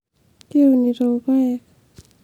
kiunito ilpayiek